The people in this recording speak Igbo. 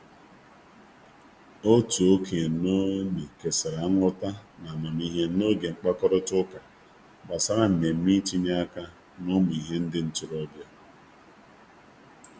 Otu okenye n'ogbe kesara nghọta na amamihe n'oge mkpakorịta ụka gbasara mmemme i tinye aka na ụmụ ihe nde ntorobịa.